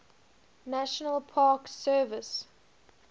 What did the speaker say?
national park service